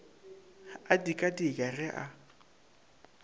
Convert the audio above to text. a dika dika ge a